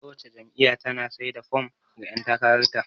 Kowace jam'iyya tana sai da fom ga ƴan takarar ta.